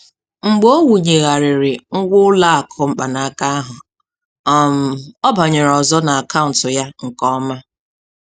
Mgbe ọ wụnyegharịrị ngwa ụlọakụ mkpanaka ahụ, um ọ banyere ọzọ n'akaụntụ ya nke ọma.